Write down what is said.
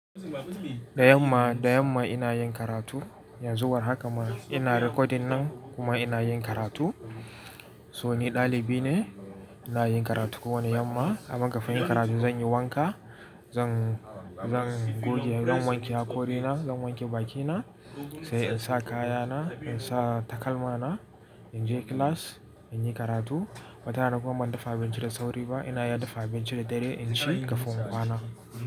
Dayanma, dayanma ina yin karatu, yanzu war haka ma ina recording nan kuma ina yin karatu. So ni ɗalibi ne, ina yin karatu kowane yamma. Aman kafin yin karatu zan yi wanka, zan, zan goge, zan wanke hakori na, zan wanke bakina, sai in sa kayana, in sa takalma na, in je class in yi karatu. Mata na kuma ban dafa abinci da sauri ba, ina ya dafa abinci da dare in shi kafin kwana.